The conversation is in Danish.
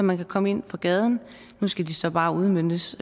man kan komme ind fra gaden og nu skal de så bare udmøntes